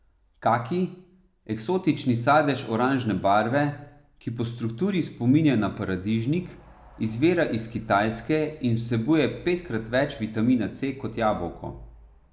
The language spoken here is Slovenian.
Kaki, eksotični sadež oranžne barve, ki po strukturi spominja na paradižnik, izvira iz Kitajske in vsebuje petkrat več vitamina C kot jabolko.